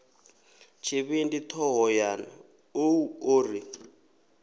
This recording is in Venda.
tshivhindi thohoyanḓ ou o ri